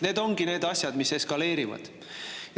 Need ongi need asjad, mis eskaleerivad.